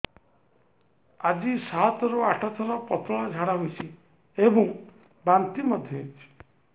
ଆଜି ସାତରୁ ଆଠ ଥର ପତଳା ଝାଡ଼ା ହୋଇଛି ଏବଂ ବାନ୍ତି ମଧ୍ୟ ହେଇଛି